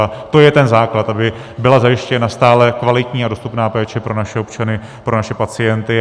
A to je ten základ, aby byla zajištěna stálá, kvalitní a dostupná péče pro naše občany, pro naše pacienty.